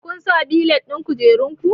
Ku sa belet ɗin kujerun ku!